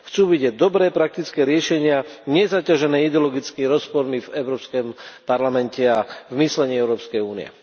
Chcú vidieť dobré, praktické riešenia, nie zaťažené ideologicky rozpormi v Európskom parlamente a v myslení Európskej únie.